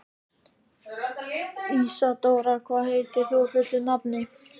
Ísadóra, hvað heitir þú fullu nafni?